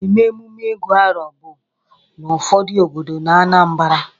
Ana-eme emume Ịgu arọ bụ n'ụfọdụ obodo n'Anambara.